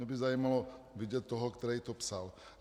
Mě by zajímalo vidět toho, kdo to psal.